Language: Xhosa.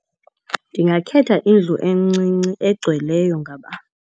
Ndingakhetha indlu encinci egcweleyo .